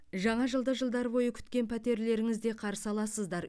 жаңа жылды жылдар бойы күткен пәтерлеріңізде қарсы аласыздар